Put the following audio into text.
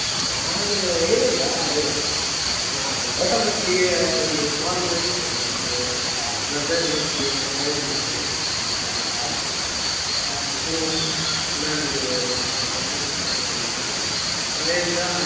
ನಾನು ಏನಿಲ್ಲ ಅದೇ ಆ ಗೌತಮ್ ಒಟ್ಟಿಗೆ ಹೀಗೆ call ಮಾಡಿದ್ದೆ ನಂದು brother ದ್ದು ಒಂದು marriage ಇತ್ತು upcoming so ನಾನ್ ಅದೇ ಆ ಗೌತಮ್ಗೆ call ಮಾಡಿದ್ನ ಅವ ಹೇಳ್ದ.